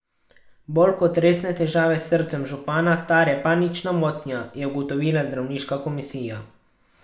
Bolj kot resne težave s srcem župana tare panična motnja, je ugotovila zdravniška komisija.